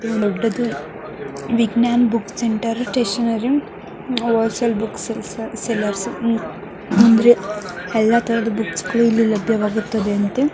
ದೊಡ್ಡದು Vijnana book centre stationery ಅಂದ್ರೆ ಎಲ್ಲ ತರ ಬುಕ್ ಇಲ್ಲಿ ಲಭ್ಯವಾಗುತ್ತದೆ --